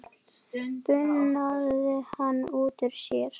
bunaði hann út úr sér.